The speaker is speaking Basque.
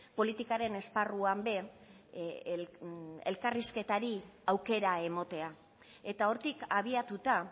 politikaren esparruan ere elkarrizketari aukera ematea eta hortik abiatuta